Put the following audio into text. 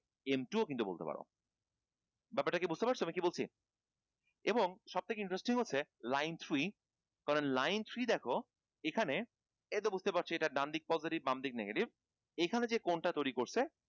m two ও‌ কিন্তু বলতে পার ব্যাপারটা কি বুঝতে পারছ আমি কি বলছি এবং সব থেকে interesting হচ্ছে line three কারণ line three দেখো এখানে এটা তো বুঝতে পারছ এটা ডান দিক positive বামদিক negative এখানে যে কোনটা তৈরি করছে